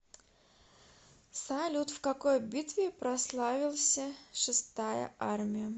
салют в какой битве прославился шестая армия